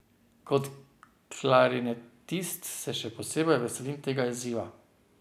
Kot klarinetist se še posebej veselim tega izziva.